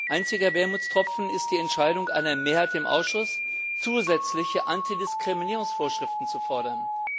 Einziger Wermutstropfen ist die Entscheidung einer Mehrheit im Ausschuss, zusätzliche Antidiskriminierungsvorschriften zu fordern.